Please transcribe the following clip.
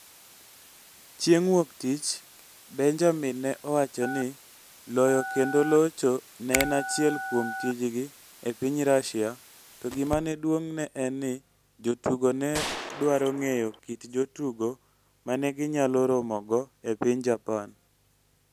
Chieng' Wuok Tich, Benjamin ne owacho ni loyo kendo locho ne en achiel kuom tijgi e piny Russia to gima ne duong' ne en ni jotugo ne dwaro ng'eyo kit jotugo ma ne ginyalo romogo e piny Japan.